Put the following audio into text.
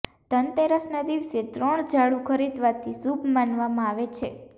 ધનતેરસના દિવસે ત્રણ ઝાડુ ખરીદવાથી શુભ માનવામાં આવે છે